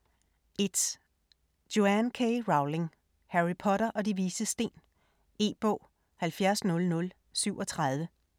1. Rowling, Joanne K.: Harry Potter og De Vises Sten E-bog 700037